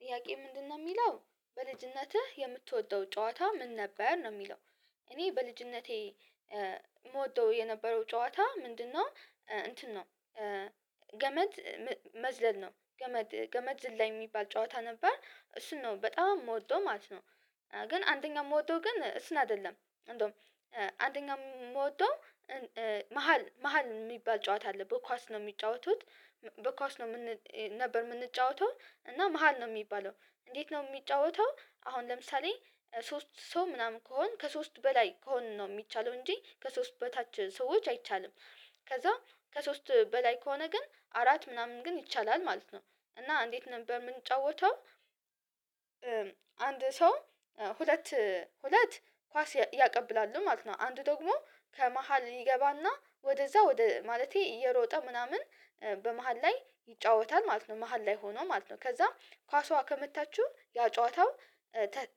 ጥያቄው ምንድነው የሚለው በልጅነትህ የምትወደው ጨዋታ ምን ነበር ነው? የሚለው እኔ በልጅነቴ የምወደው የነበረው ጨዋታ ምንድነው እንትን ነው። ገመድ መዝለል ነው ገመድ ገመድ ዝላይ የሚባል ጨዋታ ነበር እሱን ነው በጣም የምወደው ማለት ነው። ግን አንደኛ ምወደው ግን እሱን አይደለም እንደውም አንደኛ ምወደው። መሃል መሃል የሚባል ጨዋታ አለ በኳስ ነው የሚጫወቱት። በኳስ ነው የምን ነበር የምንጫወተው እና መሃል ነው የሚባለው። እንዴት ነው የሚጫወተው? አሁን ለምሳሌ ሶስት ሰው ምናምን ከሆን ከሶስት በላይ ከሆንን ነው የሚቻለው እንጂ ከሶስት በታች ሰዎች አይቻልም። ከዛ ከሶስት በላይ ከሆነ ግን አራት ምናምን ግን ይቻላል ማለት ነው። እና እንዴት ነበር የምንጫወተው? አንድ ሰው ሁለት ሁለት ኳስ ያቀብላሉ ማለት ነው አንዱ ደግሞ ከመሃል ይገባ እና ወደዛ ወደ ማለቴ እየሮጠ ምናምን በመሃል ላይ ይጫወታል ማለት ነው። መሃል ላይ ሆኖ ማለት ነው ከዛም ኳሷ ከመታችሁ ያ ጨዋታው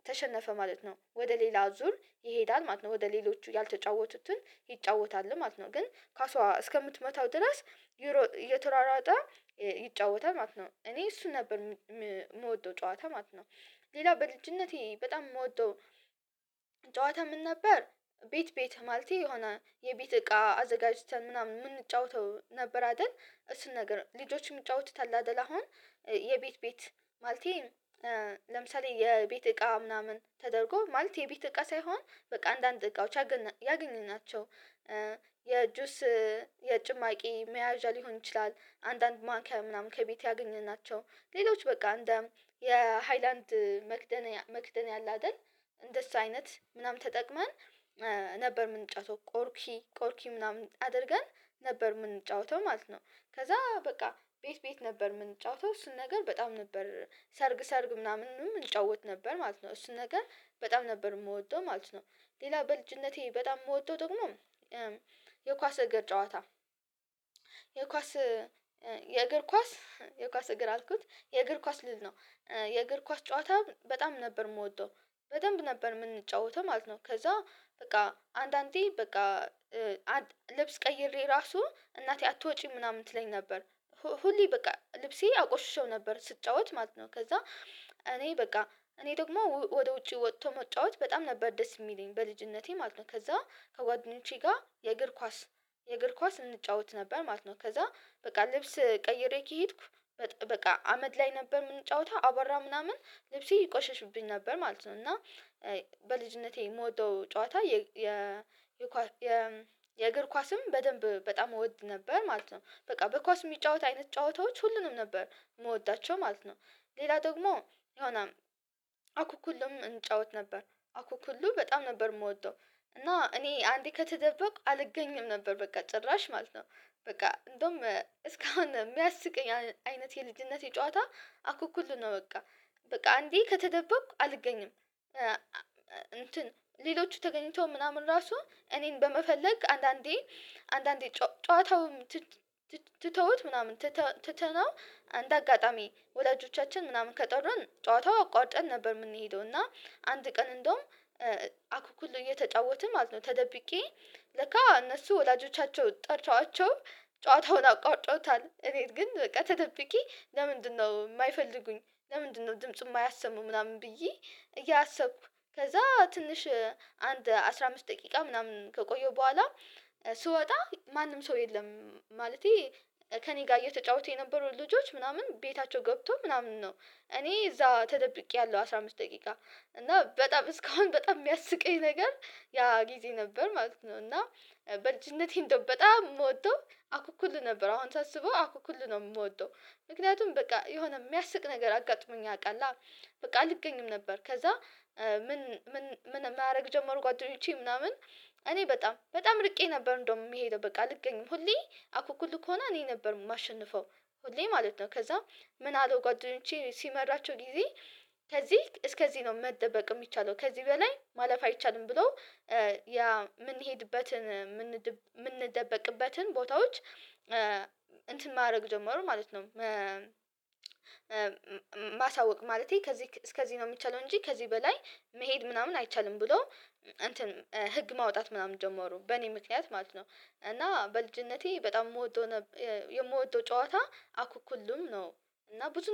ተሸነፈ ማለት ነው። ወደ ሌላ ዙር ይሄዳል ማለት ነው ወደ ሌሎቹ ያልተጫወቱትን ይጫወታል ማለት ነው። ግን ኳሷ እስከምትመታው ድረስ ይሮ እየተሯሯጠ ይጫወታል ማለት ነው። እኔ እሱ ነበር የምወደው ጨዋታ ማለት ነው። ሌላ በልጅነቴ በጣም የምወደው ጨዋታ ምን ነበር? ቤት ቤት ማለቴ የሆነ የቤት እቃ አዘጋጅተን ምናምን የምንጫወተው ነበር አይደል እሱን ነገር ልጆችም ይጫወቱታል አይደል? አሁን የቤት ቤት ማለቴ ለምሳሌ የቤት እቃ ምናምን ተደርጎ ማለት የቤት እቃ ሳይሆን በቃ አንዳንድ እቃዎች ያገኘናቸው የጁስ የጭማቂ መያዣ ሊሆን ይችላል። አንዳንድ ማንኪያ ምናምን ከቤት ያገኘናቸው ሌሎች በቃ እንደ የሃይላንድ መክደንያ መክደንያ አለ አይደል? እንደሱ አይነት ምናምን ተጠቅመን ነበር ምንጫወተው ቆርኪ ቆርኪ ምናምን አድርገን ነበር የምንጫወተው ማለት ነው። ከዛ በቃ ቤት ቤት ነበር የምንጫወተው እሱን ነገር በጣም ነበር ሰርግ ሰርግ ምናምንም እንጫወት ነበር ማለት ነው እሱን ነገር በጣም ነበር የምወደው ማለት ነው። ሌላ በልጅነቴ በጣም የምወደው ደግሞ የኳስ እግር ጨዋታ የኳስ የእግር ኳስ የኳስ እግር አልኩት የእግር ኳስ ልል ነው። የእግር ኳስ ጨዋታ በጣም ነበር የምወደው። በደንብ ነበር የምንጫወተው ማለት ነው ከዛ በቃ አንዳንዴ በቃ ልብስ ቀይሬ ራሱ እናቴ አትወጪም ምናምን ትለኝ ነበር። ሁሌ በቃ ልብሴ አቆሽሸው ነበር ስጫወት ማለት ነው። ከዛ እኔ በቃ እኔ ደግሞ ወደ ውጪ ወጥቶ መጫወት በጣም ነበር ደስ የሚለኝ በልጅነቴ ማለት ነው። ከዛ ከጓደኞቼ ጋር የእግር ኳስ የእግር ኳስ እንጫወት ነበር ማለት ነው። ከዛ በቃ ልብስ ቀይሬ ከሄድኩ በቃ አመድ ላይ ነበር የምንጫወተው አቧራ ምናምን ልብሴ ይቆሸሽብኝ ነበር ማለት ነው። እና በልጅነቴ የምወደው ጨዋታ የ የ የ የእግር ኳስም በደንብ በጣም እወድ ነበር ማለት ነው። በቃ በኳስ የሚጫወት አይነት ጨዋታዎች ሁሉንም ነበር የምወዳቸው ማለት ነው። ሌላ ደግሞ የሆነ አኩኩሉም እንጫወት ነበር አኩኩሉ በጣም ነበር የምወደው። እና እኔ አንዴ ከተደበቅኩ አልገኝም ነበር በቃ ጭራሽ ማለት ነው። በቃ እንደውም እስካሁን የሚያስቀኝ አይነት የልጅነቴ ጨዋታ አኩኩሉ ነው በቃ። በቃ አንዴ ከተደበኩ አልገኝም። እንትን ሌሎቹ ተገኝተው ምናምን ራሱ እኔን በመፈለግ አንዳንዴ አንዳንዴ ጨዋታውም ትተውት ምናምን ትተነው አንደ አጋጣሚ ወላጆቻችን ምናምን ከጠሩን ጨዋታው አቋርጠን ነበር የምንሄደው። እና አንድ ቀን እንደውም አኩኩሉ እየተጫወትን ማለት ነው። ተደብቄ ለካ እነሱ ወዳጆቻቸው ጠርተዋቸው ጨዋታውን አቋርጠውታል እኔ ግን በቃ ተደብቄ ለምንድነው የማይፈልጉኝ ለምንድነው ድምጹን የማያሰሙ ምናምን ብዬ። እያሰብኩ ከዛ ትንሽ አንድ አስራ አምስት ደቂቃ ምናምን ከቆየሁ በኋላ ስወጣ ማንም ሰው የለም። ማለቴ ከእኔ ጋር እየተጫወቱ የነበሩ ልጆች ምናምን ቤታቸው ገብቶ ምናምን ነው። እኔ እዛ ተደብቄያለሁ አስራ አምስት ደቂቃ እና በጣም እስካሁን በጣም የሚያስቀኝ ነገር ያ ጊዜ ነበር ማለት ነው። እና በልጅነቴ እንደው በጣም የምወደው አኩኩሉ ነበር አሁን ሳስበው አኩኩሉ ነው የምወደው ምክንያቱም በቃ የሆነ የሚያስቅ ነገር አጋጥሞኝ ያውቃል። በቃ አልገኝም ነበር። ከዛ ምን ምን ምን ማድረግ ጀመሩ ጓደኞቼ ምናምን እኔ በጣም በጣም ርቄ ነበር እንደውም የምሄደው በቃ አልገኝም ሁሌ አኩኩል ከሆነ እኔ ነበር የማሸንፈው። ሁሌ ማለት ነው። ከዛ ምን አሉ ጓደኞቼ ሲመራቸው ጊዜ ከዚህ እስከዚህ ነው መደበቅ የሚቻለው ከዚህ በላይ ማለፍ አይቻልም። ብሎ ያ የምንሄድበትን የምንደበቅበትን ቦታዎች እንትን ማድረግ ጀመሩ ማለት ነው። ማሳወቅ ማለቴ ከዚህ እስከዚህ ነው የሚቻለው እንጂ ከዚህ በላይ መሄድ ምናምን አይቻልም ብለው እንትን ህግ ማውጣት ምናምን ጀመሩ በእኔ ምክንያት ማለት ነው። እና በልጅነቴ በጣም የምወደው የምወደው ጨዋታ አኩኩልም ነው። እና ብዙ ነው